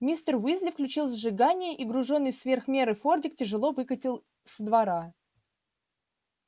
мистер уизли включил зажигание и груженный сверх меры фордик тяжело выкатил со двора